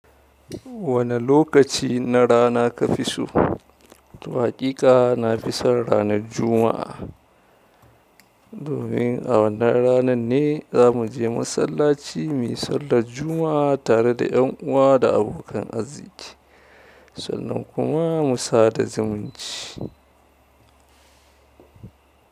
Wane lokaci na rana ka fi so? To haƙika na fi son ranar Juma'a. Domin a wannan ranan ne za mu je masallaci muyi sallar Juma'a tare da ƴan uwa da abokan arziki. Sannan kuma mu sada zumunci.